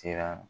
Sera